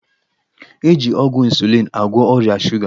E ji ọgwụ 'insulin' agwọ ọrịa shuga